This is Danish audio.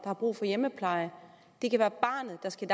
har brug for hjemmepleje det kan være barnet der skal